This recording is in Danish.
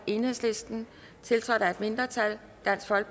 tiltrådt af et mindretal